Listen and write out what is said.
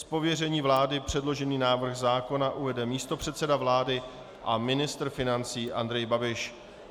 Z pověření vlády předložený návrh zákona uvede místopředseda vlády a ministr financí Andrej Babiš.